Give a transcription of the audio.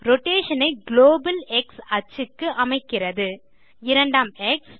rotation ஐ global X axis க்கு அமைக்கிறது இரண்டாம் எக்ஸ்